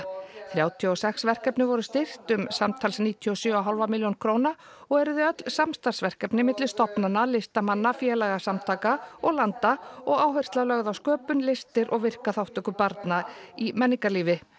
þrjátíu og sex verkefni voru styrkt um samtals níutíu og sjö og hálfa milljón króna og eru þau öll samstarfsverkefni milli stofnana listamanna félagasamtaka og landa og áhersla lögð á sköpun listir og virka þátttöku barna í menningarlífi